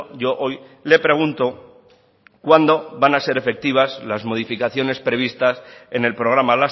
yo hoy le pregunto cuándo van a ser efectivas las modificaciones previstas en el programa